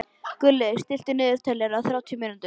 Gulli, stilltu niðurteljara á þrjátíu mínútur.